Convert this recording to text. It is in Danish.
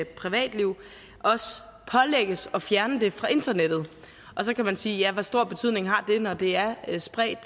privatliv også pålægges at fjerne det fra internettet så kan man sige ja hvor stor betydning har det når det er spredt